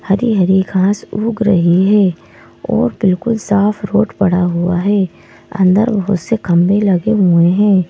हरी-हरी घांस उग रही है और बिल्कुल साफ रोड पड़ा हुआ है अंदर बहुत से खम्भे लगे हुए हैं।